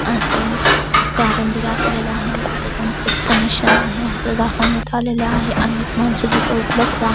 अस कारंजे दाखवलेल आहे तिथ कोणततरी फंकशन आहे अस दाखवण्यात आलेल आहे अनेक माणस तिथ उपलब्ध आ --